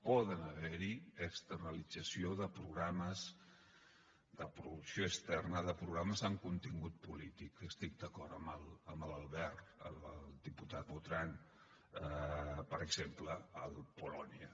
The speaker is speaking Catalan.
pot haver hi externalització de programes de producció externa de programes amb contingut polític estic d’acord amb l’albert amb el diputat botran per exemple el polònia